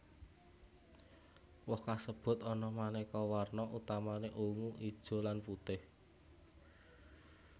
Woh kasebut ana manéka warna utamané ungu ijo lan putih